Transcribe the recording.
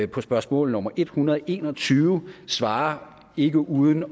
på spørgsmål nummer en hundrede og en og tyve svarer ikke uden